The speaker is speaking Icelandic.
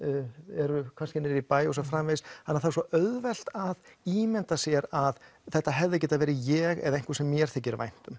eru kannski niðri í bæ og svo framvegis þannig það er svo auðvelt að ímynda sér að þetta hefði geta verið ég eða einhver sem mér þykir vænt um